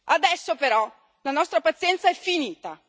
Adesso però la nostra pazienza è finita.